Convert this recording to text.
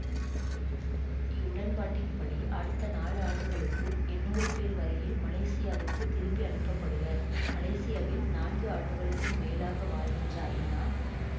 இவ்வுடன்பாட்டின் படி அடுத்த நாலு ஆண்டுகளுக்குள் எண்ணூறு பேர் வரையில் மலேசியாவுக்குத் திருப்பி அனுப்ப படுவர் மலேசியாவில் நான்கு ஆண்டுகளுக்கும் மேலாக வாழ்கின்ற ஐநா